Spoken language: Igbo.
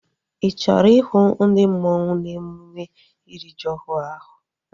Ị chọrọ ihu ndi mmanwu n'emume iri ji ọhụrụ ahu?